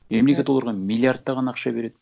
мемлекет оларға миллиардтаған ақша береді